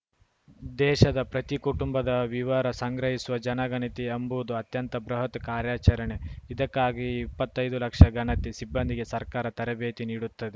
ದೇಶದ ಪ್ರತಿ ಕುಟುಂಬದ ವಿವರ ಸಂಗ್ರಹಿಸುವ ಜನಗಣತಿ ಎಂಬುದು ಅತ್ಯಂತ ಬೃಹತ್‌ ಕಾರ್ಯಾಚರಣೆ ಇದಕ್ಕಾಗಿ ಇಪ್ಪತ್ತೈದು ಲಕ್ಷ ಗಣತಿ ಸಿಬ್ಬಂದಿಗೆ ಸರ್ಕಾರ ತರಬೇತಿ ನೀಡುತ್ತದೆ